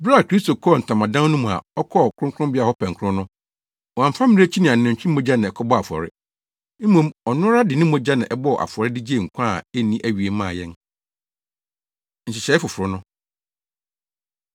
Bere a Kristo kɔɔ ntamadan no mu a ɔkɔɔ Kronkronbea hɔ pɛnkoro no, wamfa mmirekyi ne anantwi mogya na ɛkɔbɔɔ afɔre. Mmom, ɔno ara de ne mogya na ɛbɔɔ afɔre de gyee nkwa a enni awiei maa yɛn. Nhyehyɛe Foforo No